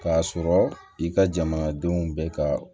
K'a sɔrɔ i ka jamana denw bɛ ka